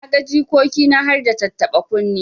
Na ga jikoki na harda tattaba kunne.